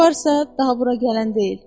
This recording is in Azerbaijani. Küçüyü varsa, daha bura gələn deyil.